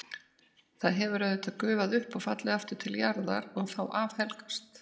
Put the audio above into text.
Það hefur auðvitað gufað upp og fallið aftur til jarðar og þá afhelgast.